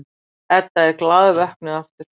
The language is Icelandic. Edda er glaðvöknuð aftur.